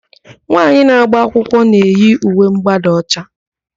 Nwaanyị na-agba akwụkwọ na-eyi uwe ḿgbádà ọcha.